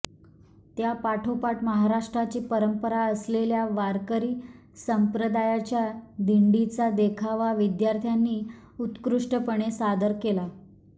त्यापाठोपाठ महाराष्ट्राची परंपरा असलेल्या वारकरी संप्रदायाच्या दिंडीचा देखावा विद्यार्थ्यांनी उत्कृष्टपणे सादर केला